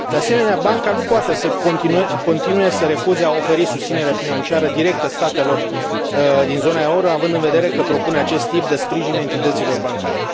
De asemenea, banca nu poate să continue să refuze a oferi susținere financiară directă statelor din zona euro, având în vedere că propune acest tip de sprijin entităților bancare.